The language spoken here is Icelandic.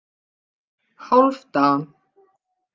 Hálfdan